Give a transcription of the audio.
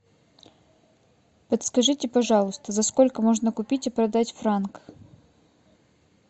подскажите пожалуйста за сколько можно купить и продать франк